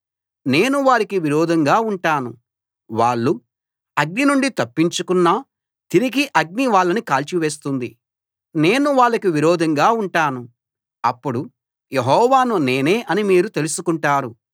నేను వారికి విరోధంగా ఉంటాను వాళ్ళు అగ్ని నుండి తప్పించుకున్నా తిరిగి అగ్ని వాళ్ళని కాల్చివేస్తుంది నేను వాళ్లకి విరోధంగా ఉంటాను అప్పుడు యెహోవాను నేనే అని మీరు తెలుసుకుంటారు